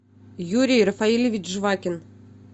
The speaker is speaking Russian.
юрий рафаилевич жвакин